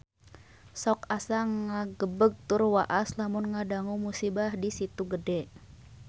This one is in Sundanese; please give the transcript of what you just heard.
Sok asa ngagebeg tur waas lamun ngadangu musibah di Situ Gede